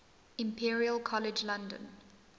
imperial college london